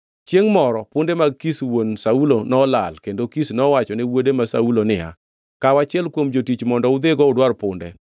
Chiengʼ moro punde mag Kish wuon Saulo nolal kendo Kish nowachone wuode ma Saulo niya, “Kaw achiel kuom jotich mondo udhigo udwar punde.”